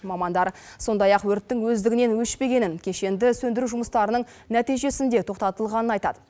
мамандар сондай ақ өрттің өздігінен өшпегенін кешенді сөндіру жұмыстарының нәтижесінде тоқтатылғанын айтады